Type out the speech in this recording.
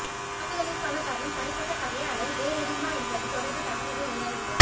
தாக்குதலிற்கான காரணம் தனிப்பட்ட பகையா அல்லது வேறுஏதுமாவென்பது தொடர்பில் தகவல்கள் வெளியாகவில்லை